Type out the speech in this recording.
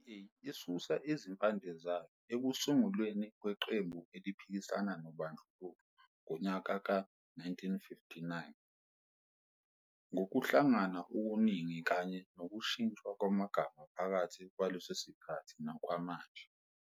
I-DA isusa izimpande zayo ekusungulweni kweqembu eliphikisana nobandlululo ngonyaka we-1959, ngokuhlangana okuningi kanye nokushintshwa kwamagama phakathi kwalesosikhathi nokwamanje.